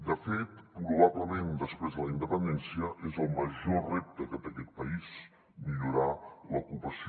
de fet probablement després de la independència és el major repte que té aquest país millorar l’ocupació